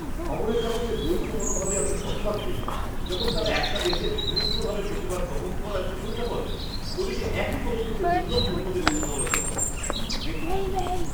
খবরেরকাগজের দ্বৈত মনোভাবে আমি হতবাক হয়ে যাই যখন তারা একটা দেশের হিংস্রভাবে প্রতিবাদ দমন করায় প্রশংসা করে ওদিকে একই পদক্ষেপের জন্য অন্য দেশের সমালোচনা করে। ব্যক্তি দুই